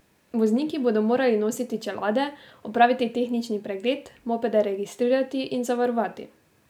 Vozniki bodo morali nositi čelade, opraviti tehnični pregled, mopede registrirati in zavarovati.